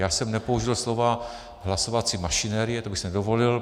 Já jsem nepoužil slova hlasovací mašinerie, to bych si nedovolil.